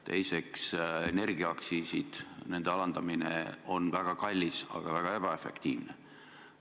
Teiseks, energiaaktsiiside alandamine on väga kallis ja väga ebaefektiivne.